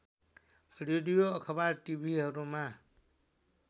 radio अखबार टिभीहरूमा